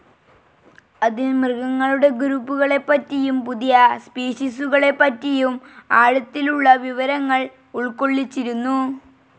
അതിൽ മൃഗങ്ങളുടെ ഗ്രൂപ്പുകളെപ്പറ്റിയും പുതിയ സ്പീഷീസുകളെപ്പറ്റിയും ആഴത്തിലുള്ള വിവരങ്ങൾ ഉൾക്കൊള്ളിച്ചിരുന്നു.